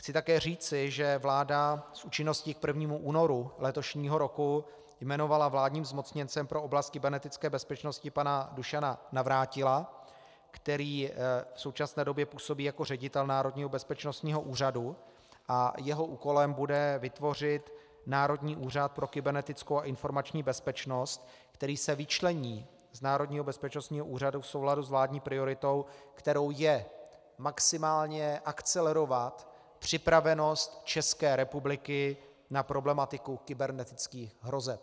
Chci také říci, že vláda s účinností k 1. únoru letošního roku jmenovala vládním zmocněncem pro oblast kybernetické bezpečnosti pana Dušana Navrátila, který v současné době působí jako ředitel Národního bezpečnostního úřadu, a jeho úkolem bude vytvořit Národní úřad pro kybernetickou a informační bezpečnost, který se vyčlení z Národního bezpečnostního úřadu v souladu s vládní prioritou, kterou je maximálně akcelerovat připravenost České republiky na problematiku kybernetických hrozeb.